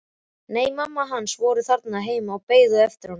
Nei, mamma hans var þarna heima og beið eftir honum.